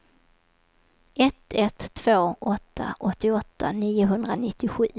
ett ett två åtta åttioåtta niohundranittiosju